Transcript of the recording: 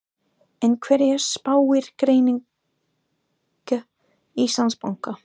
En hverju spáir greining Íslandsbanka?